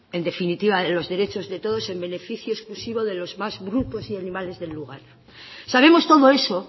en definitiva de los derechos de todos en beneficio exclusivo de los más brutos y animales del lugar sabemos todo eso